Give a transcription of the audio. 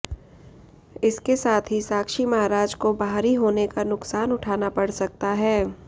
इसके साथ ही साक्षी महाराज को बाहरी होने का नुकसान उठाना पड़ सकता है